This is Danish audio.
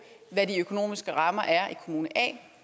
hvad de økonomiske rammer er i kommune a